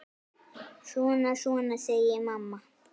Svona, svona, segir mamma.